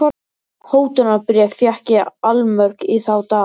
Hótunarbréf fékk ég allmörg í þá daga.